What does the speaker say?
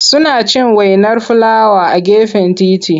Suna cin wainar filawa a gefen titi.